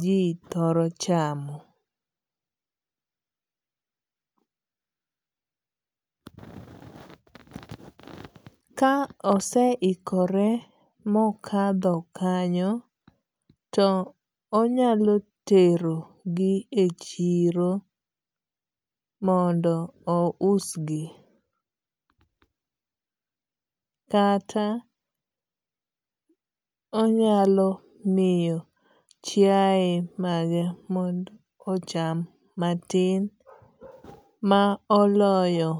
ji thoro chamo. Ka ose ikore mokadho kanyo to onyalo tero gi e chiro mondo o usgi. Kata onyalo miyo chiaye mage mondo ocham matin ma oloyo.